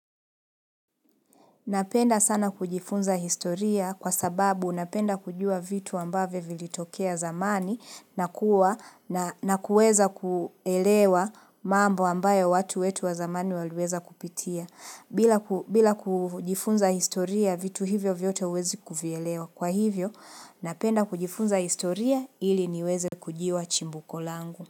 Napenda sana kujifunza historia kwa sababu napenda kujua vitu ambavyo vilitokea zamani na kuwa na na kuweza kuelewa mambo ambayo watu wetu wa zamani waliweza kupitia. Bila ku bila kujifunza historia vitu hivyo vyote huwezi kuvielewa. Kwa hivyo napenda kujifunza historia ili niweze kujua chimbuko langu.